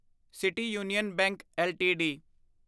city Union Bank LTD